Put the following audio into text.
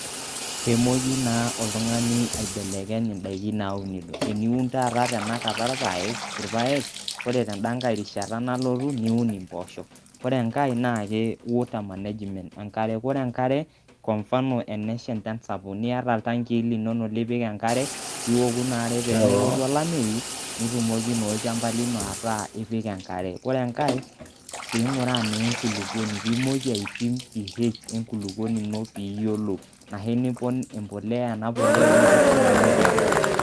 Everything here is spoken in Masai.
Peemoki naa oltung'ani aibelekeny indaiki naunito, eniun taata tenakata irpaek ore tenda nkae rishata nalotu niun imboosho. Ore e nkae naake water management enkare, ore enkare kwa mfano enesha echan sapuk niata iltankii linonok lipik enkare piiiwoku ina are pee tenelotu olameyu netumoki naa olchamba lino ataa ipik enkare. Ore enkae piing'uraa naa enkulukoni piimoki aipim PH enkulukoni ino piiyolou anashu nipon embolea ena polea o nkishu nimoki apon.